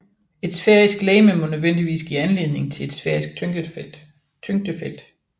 Et sfærisk legeme må nødvendigvis give anledning til et sfærisk tyngdefelt